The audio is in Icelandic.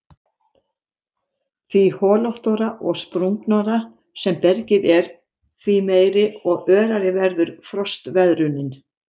Því holóttara og sprungnara sem bergið er því meiri og örari verður frostveðrunin.